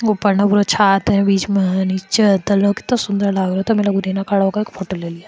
उपर्ण उर छत है बिच में है नीच है कीतो सुंदर फोटो ले लिया।